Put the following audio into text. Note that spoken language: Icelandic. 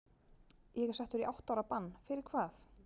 Ég er settur í átta ára bann- fyrir hvað?